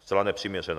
zcela nepřiměřená.